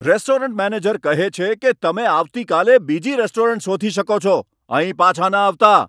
Restaurant manager કહે છે કે, તમે આવતીકાલે બીજી રેસ્ટોરન્ટ શોધી શકો છો. અહીં પાછા ન આવતા.